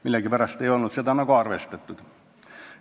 Millegipärast seda analüüsi arvesse ei võetud.